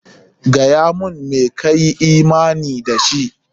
Gaya mun me ka yi imani da shi!